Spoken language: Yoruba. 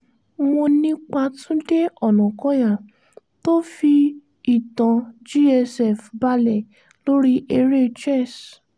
mo nípa túnde ọ̀nàkọ̀yà tó fi ìtàn gsf balẹ̀ lórí ère chess